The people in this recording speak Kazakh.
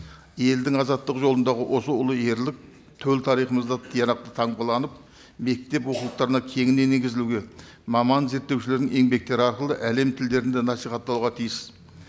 елдің азаттық жолындағы осы ұлы ерлік төл тарихымызда мектеп оқулықтарына кеңінен енгізілуге маман зерттеушілердің еңбектері арқылы әлем тілдерінде насихатталуға тиіс